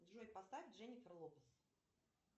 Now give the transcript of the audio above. джой поставь дженнифер лопес